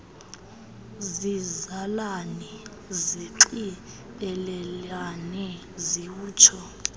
zizalane zinxibelelane ziwutsho